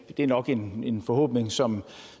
er nok en en forhåbning som